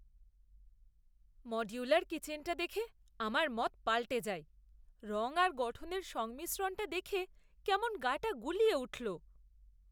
Modular কিচেনটা দেখে আমার মত পাল্টে যায়। রঙ আর গঠনের সংমিশ্রণটা দেখে কেমন গা টা গুলিয়ে উঠল।